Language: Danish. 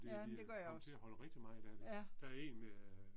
Ja men det gør jeg også. Ja